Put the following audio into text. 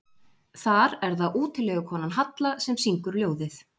Þar er það útilegukonan Halla sem syngur ljóðið.